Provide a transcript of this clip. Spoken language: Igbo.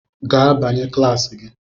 Gaa banye kilasi gi!